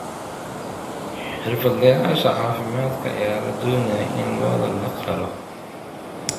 Xirfadlayaasha caafimaadka ayaa la doonayaa in lo'da la qalo.